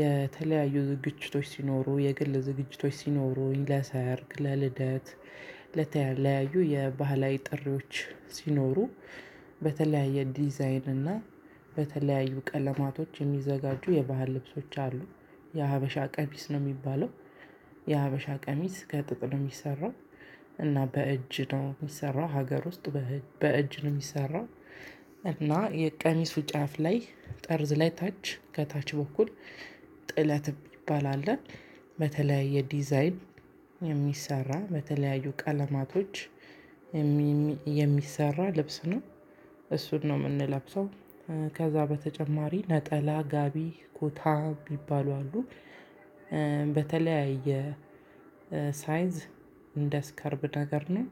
የተለያዩ ዝግጅቶች ሲኖሩ የግል ዝግጅቶች ሲኖሩኝ ለሰርግ ለልደት። ለተለያዩ የባህላዊ ጥሪዎች ሲኖሩ። በተለያየ ዲዛይን እና በተለያዩ ቀለማቶች የሚዘጋጁ የባህል ልብሶች አሉ። የሀበሻ ቀሚስ ነው የሚባለው። የሀበሻ ቀሚስ ከጥጥ ነው የሚሰራው። እና በእጅ ነው የሚሰራው ሀገር ውስጥ። በእጅ ነው የሚሰራው። እና የቀሚሱ ጫፍ ላይ ጠርዝ ላይ ታች ከታች በኩል ጥለት የሚባል አለ። በተለያየ ዲዛይን የሚሰራ በተለያዩ ቀለማቶች። የሚሰራ ልብስ ነው እሱን ነው የምንለብሰው። ከዛ በተጨማሪ ነጠላ ጋቢ ኮታ ሚባሉ አሉ። በተለያየ ሳይዝ እንደ ስከርብ ነገር ነው።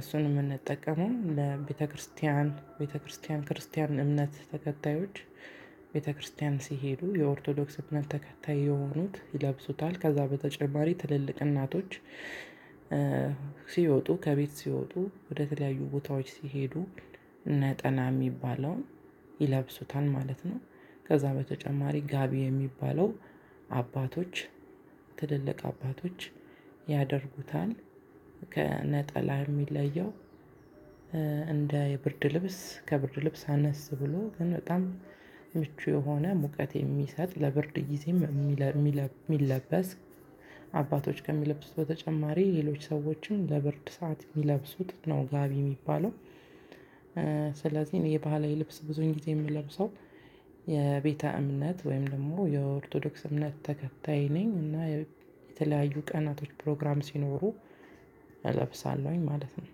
እሱንም የምንጠቀመው ለቤተክርስቲያን ቤተክርስቲያን ክርስቲያን እምነት ተከታዮች ቤተክርስቲያን ሲሄዱ የኦርቶዶክስ እምነት ተከታይ የሆኑት ይለብሱታል። ከዛ በተጨማሪ ትልልቅ እናቶች። ሲወጡ ከቤት ሲወጡ ወደተለያዩ ቦታዎች ሲሄዱ ነጠላ የሚባለውን ይለብሱታል ማለት ነው። ከዛ በተጨማሪ ጋቢ የሚባለው አባቶች ትልልቅ አባቶች ያደርጉታል። ከነጠላ የሚለየው። እንደ የብርድ ልብስ ከብርድ ልብስ አነስ ብሎ ግን በጣም ምቹ የሆነ ሙቀት የሚሰጥ ለብርድ ጊዜም የሚለብስ የሚለበስ። አባቶች ከሚለብሱት በተጨማሪ ሌሎች ሰዎችም ለብርድ ሰዓት የሚለብሱት ነው ጋቢ የሚባለው። ስለዚህ የባህላዊ ልብስ ብዙኝ ጊዜ የምለብሰው። የቤተ እምነት ወይም ደግሞ የኦርቶዶክስ እምነት ተከታይ ነኝ እና የተለያዩ ቀናቶች ፕሮግራም ሲኖሩ እለብሳለሁኝ ማለት ነው።